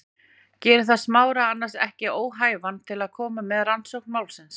Gerir það Smára annars ekki óhæfan til að koma að rannsókn málsins?